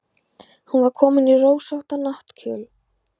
Hún var komin í rósóttan náttkjól.